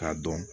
K'a dɔn